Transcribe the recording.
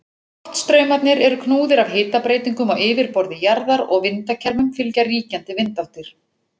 Loftstraumarnir eru knúðir af hitabreytingum á yfirborði jarðar og vindakerfum fylgja ríkjandi vindáttir.